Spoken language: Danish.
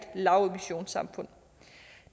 lavemissionssamfund